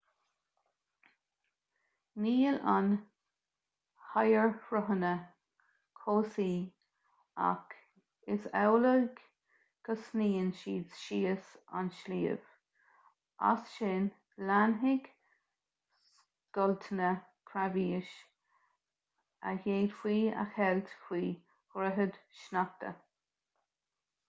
níl na hoighearshruthanna cobhsaí ach is amhlaidh go sníonn siad síos an sliabh as sin leanfaidh scoilteanna creabháis a d'fhéadfaí a cheilt faoi dhroichid sneachta